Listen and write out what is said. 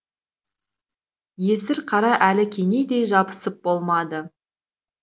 есірқара әлі кенедей жабысып болмады